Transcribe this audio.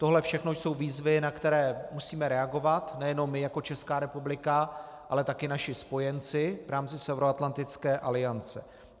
Tohle všechno jsou výzvy, na které musíme reagovat nejenom my jako Česká republika, ale také naši spojenci v rámci Severoatlantické aliance.